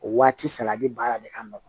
O waati salati baara de ka nɔgɔn